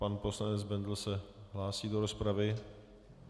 Pan poslanec Bendl se hlásí do rozpravy.